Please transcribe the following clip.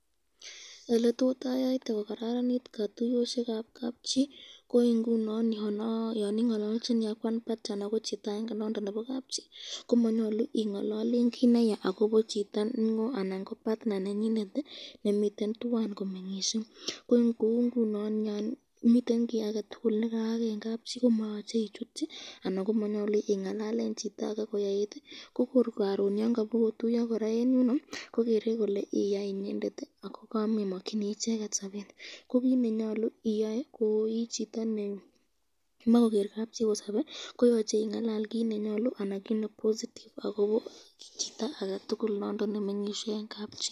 Eletot ayayyte kokaranit katuyoskekab kabchi